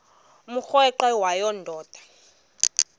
umrweqe wayo yoonda